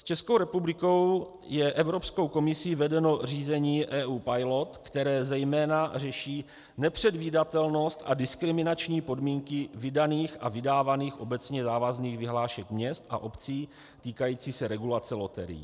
S Českou republikou je Evropskou komisí vedeno řízení EU Pilot, které zejména řeší nepředvídatelnost a diskriminační podmínky vydaných a vydávaných obecně závazných vyhlášek měst a obcí týkající se regulace loterií.